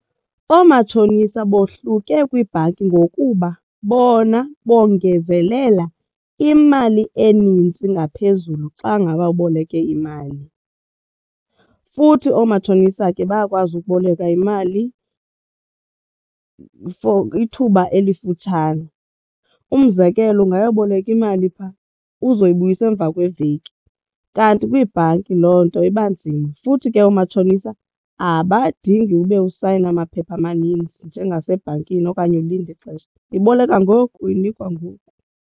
Oomatshonisa bohluke kwibhanki ngokuba bona bongezelela imali enintsi ngaphezulu xa ngaba uboleke imali futhi oomatshonisa ke bayakwazi ukuboleka imali for ithuba elifutshane. Umzekelo ungayoboleka imali phaa uzoyibuyisa emva kweveki. Kanti kwiibhanki loo nto iba nzima futhi ke oomatshonisa abadingi ube usayina maphepha amaninzi njengesebhankini okanye ulinde ixesha, uyiboleka ngoku uyinikwa ngoku.